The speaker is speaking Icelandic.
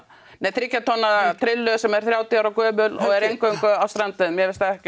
nei þriggja tonna trillu sem er þrjátíu ára gömul og er eingöngu á strandveiðum mér finnst það ekki